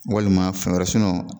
Walima fɛn wɛrɛ sinɔn